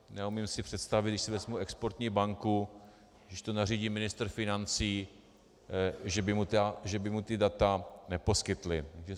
Neumím si představit, když si vezmu Exportní banku, když to nařídí ministr financí, že by mu ta data neposkytli.